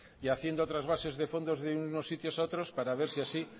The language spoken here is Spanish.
y haciendo trasvases de fondos de unos sitios a otros para ver si así